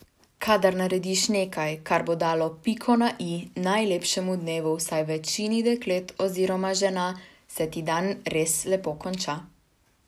Kadar narediš nekaj, kar bo dalo piko na i najlepšemu dnevu vsaj večini deklet oziroma žena, se ti dan res lepo konča.